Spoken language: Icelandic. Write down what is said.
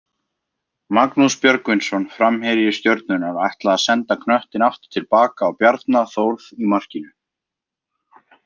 Magnús Björgvinsson framherji Stjörnunnar ætlaði að senda knöttinn aftur tilbaka á Bjarna Þórð í markinu.